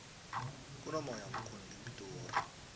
kunomoya omkhulu ngepitori